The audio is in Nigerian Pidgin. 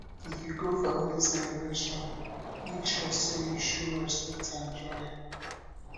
if you go family celebration make sure say you show respect and joy